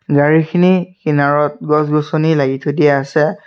গাড়ীখিনি কিনাৰত গছ গছনি লাগি থৈ দিয়া আছে।